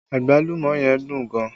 Agbalumo yẹn dùn gan